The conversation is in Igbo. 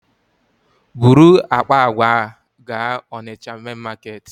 Buru akpa àgwà a gaa Onitsha main Market!